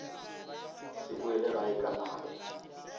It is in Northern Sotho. se boele gae ka nako